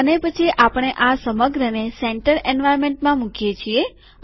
અને પછી આપણે આ સમગ્રને સેન્ટરકેન્દ્ર એન્વાર્નમેન્ટમાં મુકીએ છીએ